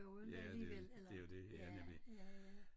Ja det jo det jo det ja nemlig